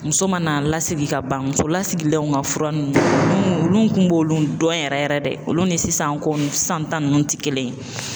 Muso mana lasigi ka ban muso lasigilenw ka fura nunnu, olu kun b'olu dɔn yɛrɛ yɛrɛ de olu ni sisan ko ni sisan ta ninnu ti kelen ye